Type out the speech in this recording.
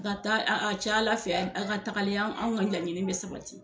A ka taa, a cayala fɛ a ka tagale anw ka laɲini bɛ sabati.